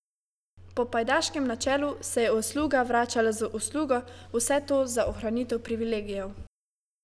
Po pajdaškem načelu se je usluga vračala z uslugo, vse to za ohranitev privilegijev.